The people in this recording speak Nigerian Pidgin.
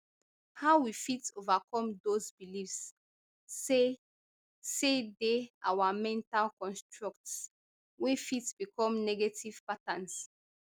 how we fit overcome those beliefs say say dey our mental constructs wey fit become negative patterns